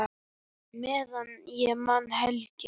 Meðan ég man, Helgi.